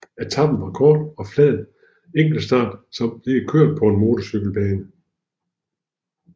Etapen var en kort og flad enkeltstart som blev kørt på en motorcykelbane